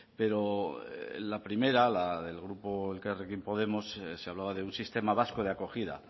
pero la primera la del grupo elkarrekin podemos se hablaba de un sistema vasco de acogida